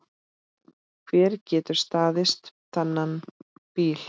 Hver getur staðist þannig bíl?